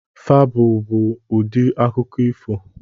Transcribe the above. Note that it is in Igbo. Febụl bụ ụdị akụkọ ifo.